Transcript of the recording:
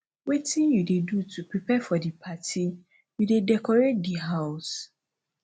wetin you dey do to prepare for di party you dey decorate di house